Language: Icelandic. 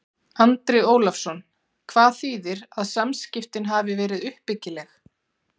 Andri Ólafsson: Hvað þýðir að samskiptin hafi verið uppbyggileg?